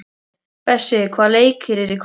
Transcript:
Bessi, hvaða leikir eru í kvöld?